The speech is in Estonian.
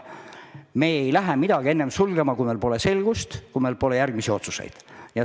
Me ei lähe midagi enne sulgema, kui meil pole selgust, kui meil pole järgmisi otsuseid.